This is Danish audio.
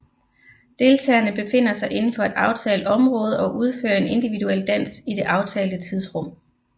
Deltagerne befinder sig inden for et aftalt område og udfører en individuel dans i det aftalte tidsrum